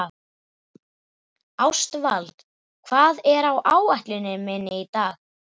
Ástvald, hvað er á áætluninni minni í dag?